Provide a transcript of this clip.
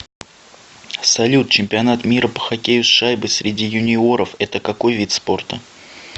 салют чемпионат мира по хоккею с шайбой среди юниоров это какой вид спорта